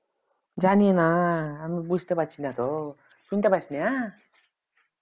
জানিনা আমি বুঝতে পারছি না তো শুনতে পাস না